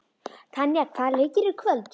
Tanja, hvaða leikir eru í kvöld?